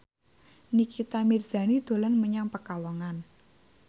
Nikita Mirzani dolan menyang Pekalongan